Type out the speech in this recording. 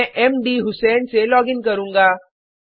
मैं मधुसें से लॉगिन करुँगा